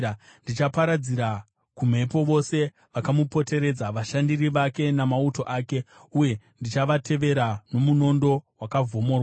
Ndichaparadzira kumhepo vose vakamupoteredza, vashandiri vake namauto ake, uye ndichavateverera nomunondo wakavhomorwa.